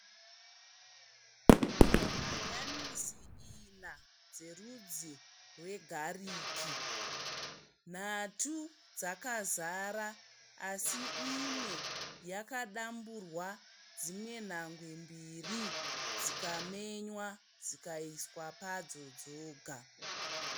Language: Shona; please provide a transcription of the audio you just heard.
Hanyanisi ina dzerudzi rwegariki. Nhatu dzakazara asi imwe yakadamburwa dzimwe nhangwe mbiri dzikamenywa, dzikaiswa padzo dzoga.